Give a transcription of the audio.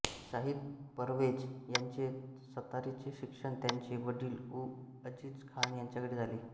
शाहीद परवेज यांचे सतारीचे शिक्षण त्यांचे वडील उ अजीज खान यांच्याकडे झाले